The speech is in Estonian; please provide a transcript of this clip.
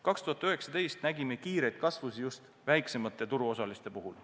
2019. aastal nägime kiiret kasvu just väiksemate turuosaliste puhul.